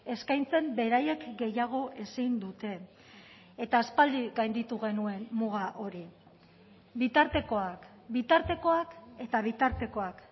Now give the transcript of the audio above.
eskaintzen beraiek gehiago ezin dute eta aspaldi gainditu genuen muga hori bitartekoak bitartekoak eta bitartekoak